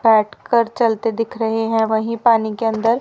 बैठकर चलते दिख रहें हैं वहीं पानी के अंदर।